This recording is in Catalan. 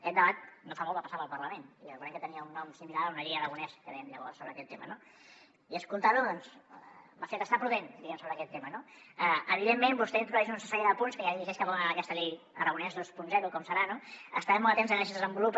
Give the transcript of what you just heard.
aquest debat no fa molt va passar pel parlament i recordem que tenia un nom similar a una llei aragonès que dèiem llavors sobre aquest tema no i escoltar lo doncs m’ha fet ser prudent diguem ne sobre aquest tema no evidentment vostè hi introdueix una sèrie de punts i ja dirigeix cap on ha d’anar aquesta llei aragonès vint com serà no estarem molt atents a veure si es desenvolupa